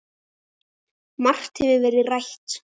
Margt hefur verið rætt.